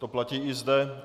To platí i zde.